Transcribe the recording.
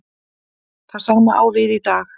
Það sama á við í dag.